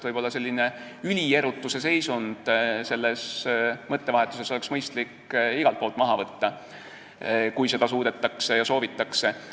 Võib-olla oleks mõistlik selline ülierutuse seisund selles mõttevahetuses igal pool maha võtta, kui seda suudetakse ja soovitakse.